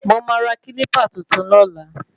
Mo máa ra kílípà tuntun lọ́la